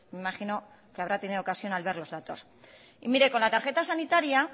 imagino que habrá tenido ocasión al ver los datos y mire con la tarjeta sanitaria